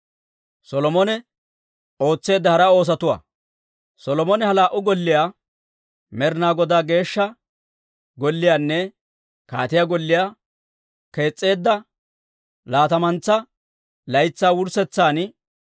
Solomone ha laa"u golliyaa, Med'inaa Godaa Geeshsha Golliyaanne kaatiyaa golliyaa kees's'eedda laatamantsa laytsaa wurssetsan,